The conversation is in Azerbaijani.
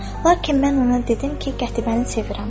Lakin mən ona dedim ki, Qətibəni sevirəm.